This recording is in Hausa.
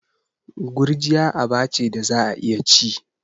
Gurjiya aba ce da za'a iya ci.